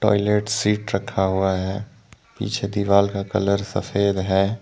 Seat रखा हुआ है पीछे दीवाल का कलर सफेद है।